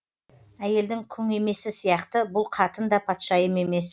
әйелдің күң емесі сияқты бұл қатын да патшайым емес